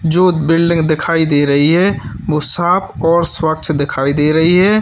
जो बिल्डिंग दिखाई दे रही है वह साफ और स्वच्छ दिखाई दे रही है।